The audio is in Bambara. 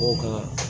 O ka